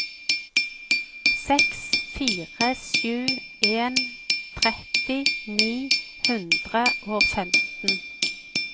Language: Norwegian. seks fire sju en tretti ni hundre og femten